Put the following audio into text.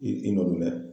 I n'olu mɛn